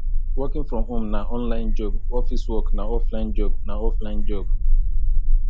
working from home na online job office work na offline job na offline job